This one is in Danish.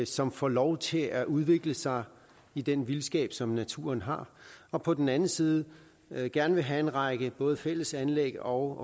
som får lov til at udvikle sig i den vildskab som naturen har og på den anden side vil vi gerne have en række både fælles anlæg og